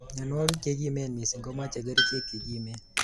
Mnyenwokik chekimen missing komeche kerichek chekimen.